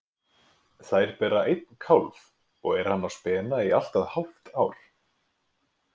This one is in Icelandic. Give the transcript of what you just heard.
Þær bera einn kálf og er hann á spena í allt að hálft ár.